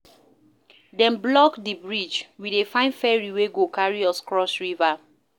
Dem block di bridge, we dey find ferry wey go carry us cross river.